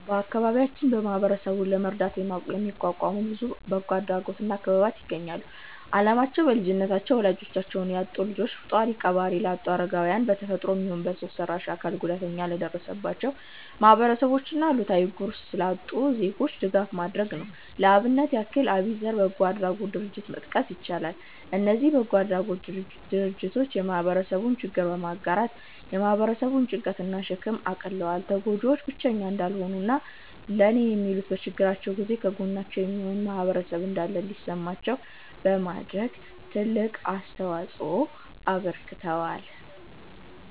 በአከባቢያችን ማህበረሰብን ለመርዳት የተቋቋሙ ብዙ በጎ አድራጎት እና ክበባት ይገኛሉ። አላማቸውም: በልጅነታቸው ወላጆቻቸውን ላጡ ልጆች፣ ጧሪ ቀባሪ ላጡ አረጋውያን፣ በ ተፈጥሮም ይሁን በሰው ሰራሽ አካል ጉዳት ለደረሰባቸው ማህበረሰቦች እና እለታዊ ጉርስ ላጡ ዜጎች ድጋፍ ማድረግ ነው። ለአብነት ያህል አቢዘር በጎ አድራጎት ድርጀትን መጥቀስ ይቻላል። እነዚ በጎ አድራጎት ድርጅቶች የህብረተሰቡን ችግር በመጋራት የ ህብረተሰቡን ጭንቀት እና ሸክም አቅልለዋል። ተጎጂዎቹ ብቸኛ እንዳልሆኑ እና የኔ የሚሉት፤ በችግራቸው ጊዜ ከጎናቸው የሚሆን ማህበረሰብ እንዳለ እንዲሰማቸው በማድረግ ትልቅ አስተዋጽኦ አበርክተዋል።